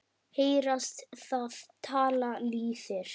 Heyrast það tala lýðir.